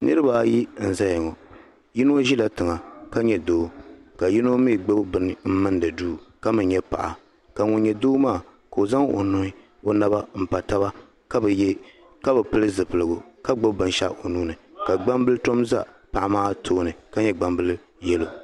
Niriba ayi n zaya ŋɔ yino ʒila tiŋɔ la nyɛ doo ka yino mee gbibi bini m mindi duu ka mee nyɛ paɣa ka ŋun nyɛ doo maa ka o zaŋ o nuhi m pa taba ka bi pili zipiligu ka gbibi binshaɣu o nuuni la gbambili tom za paɣa maa tooni ka nyɛ gbambili yelo.